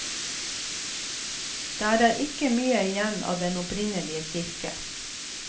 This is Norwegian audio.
Der er ikke mye igjen av den opprinnelige kirke.